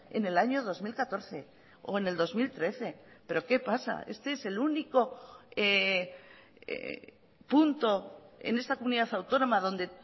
en el año dos mil catorce o en el dos mil trece pero qué pasa este es el único punto en esta comunidad autónoma donde